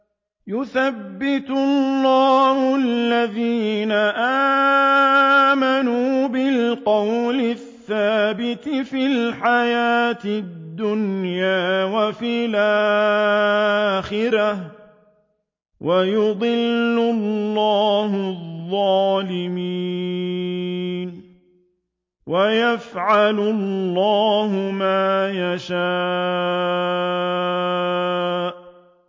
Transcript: يُثَبِّتُ اللَّهُ الَّذِينَ آمَنُوا بِالْقَوْلِ الثَّابِتِ فِي الْحَيَاةِ الدُّنْيَا وَفِي الْآخِرَةِ ۖ وَيُضِلُّ اللَّهُ الظَّالِمِينَ ۚ وَيَفْعَلُ اللَّهُ مَا يَشَاءُ